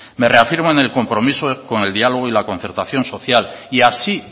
me reafirmo en el compromiso con el diálogo y concertación social y así